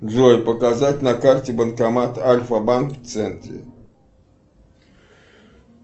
джой показать на карте банкомат альфа банк в центре